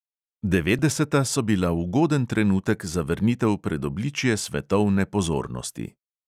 Devetdeseta so bila ugoden trenutek za vrnitev pred obličje svetovne pozornosti.